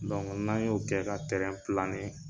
Donku n'an y'o kɛ ka tɛrɛn